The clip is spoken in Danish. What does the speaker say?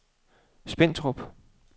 Spentrup